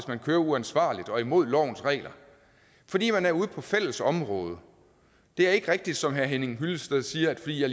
man kører uansvarligt og imod lovens regler fordi man er ude på fælles område det er ikke rigtigt som herre henning hyllested siger at fordi jeg